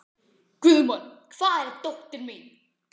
Guðmon, hvar er dótið mitt?